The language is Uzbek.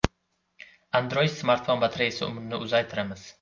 Android-smartfon batareyasi umrini uzaytiramiz.